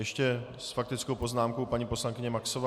Ještě s faktickou poznámkou paní poslankyně Maxová.